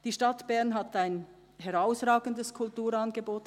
Die Stadt Bern hat ein herausragendes und breites Kulturangebot.